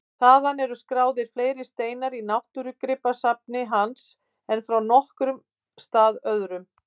Þaðan eru skráðir fleiri steinar í náttúrugripasafni hans en frá nokkrum stað öðrum.